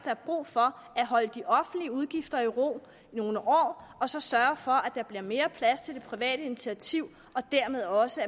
er brug for at holde de offentlige udgifter i ro nogle år og så sørge for at der bliver mere plads til det private initiativ og dermed også